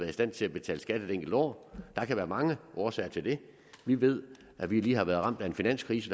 i stand til at betale skat et enkelt år der kan være mange årsager til det vi ved at vi lige har været ramt af en finanskrise